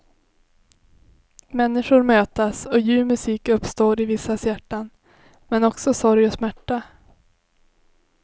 Människor mötas och ljuv musik uppstår i vissas hjärtan, men också sorg och smärta.